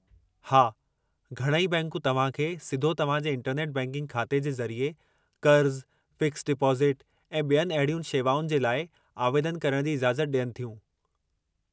हा, घणई बैंकूं तव्हां खे सिधो तव्हां जे इंटरनेट बैंकिंग ख़ाते जे ज़रिए क़र्ज़ु, फ़िक्सड डिपोज़िट ऐं ॿियुनि अहिड़ियुनि शेवाउनि जे लाइ आवेदनु करण जी इजाज़त ॾियनि थियूं।